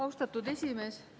Austatud esimees!